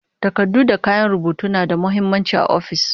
Takardu da kayan rubutu na da muhimmanci a ofis